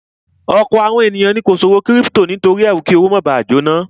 Ọ̀pọ̀ àwọn èèyàn ni kò ṣòwò kírípítò nítorí ẹrú kí owó máa jóná